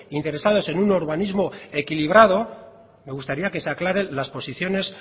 interesados en un urbanismo equilibrado me gustaría que se aclaren las posiciones